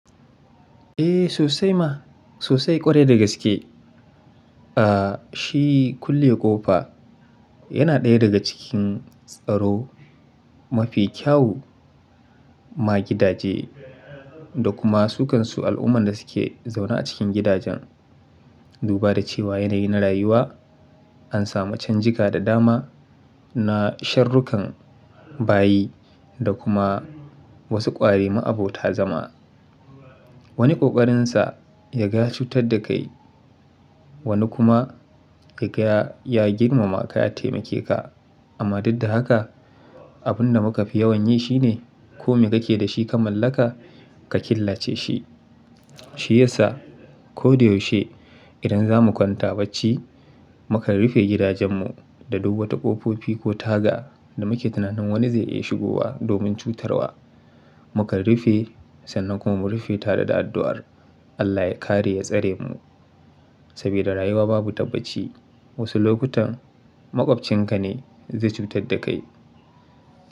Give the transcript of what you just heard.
Eh sosai ma sosai ƙwarai da gaske. Ah shi kulle ƙofa yana ɗaya daga cikin tsaro mafi kyau ma gidaje da kuma su kansu al'umman da suke zaune a cikin gidajen. Duba da cewa yanayi na rayuwa an samu canjika da dama na sharuƙan bayi da kuma wassu ƙwari ma abota zama. Wani ƙoƙarinsa ya ga ya cutar da kai, wani kuma yaga ya-- ya girmama ka ya taimake ka. Amma duk da haka abun da muka fi yawan yi shine kome kake da shi ka mallaka ka killace shi. Shi yasa ko da yaushe idan za mu kwanta bacci mukan rufe gidajen mu da duk wata ƙofofi ko taga da muke tunanin wani zai iya shigowa domin cutarwa. Mu kan rufe sannan kuma mu rufe ta da addu'ar Allah ya kare ya tsare mu. Sabida rayuwa babu tabbaci wasu lokutan maƙwabcinka ne zai cutar da kai.